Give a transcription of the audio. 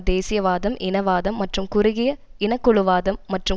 தேசியவாதம் இனவாதம் மற்றும் குறுகிய இனக்குழுவாதம் மற்றும்